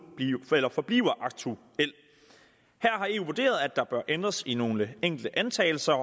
forbliver aktuel her har eu vurderet at der bør ændres i nogle enkelte antagelser